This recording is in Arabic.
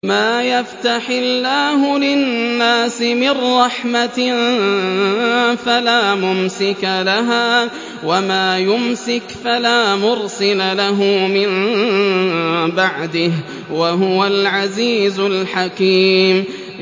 مَّا يَفْتَحِ اللَّهُ لِلنَّاسِ مِن رَّحْمَةٍ فَلَا مُمْسِكَ لَهَا ۖ وَمَا يُمْسِكْ فَلَا مُرْسِلَ لَهُ مِن بَعْدِهِ ۚ وَهُوَ الْعَزِيزُ الْحَكِيمُ